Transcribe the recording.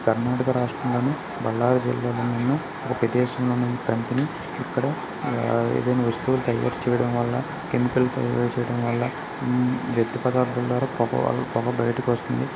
కర్ణాటక రాష్ట్ర లోని బళ్లారి జిల్లా లో ఉన్న ఉన్న కంపెనీ ఇక్కడ ఏదైనా వస్తువులు తయారు చేయడం వల్ల కెమికల్స్ తయారు చేయడమ వల్ల వ్యర్థ పదార్దాల ద్వారా పొగ బయటకు వస్తుంది .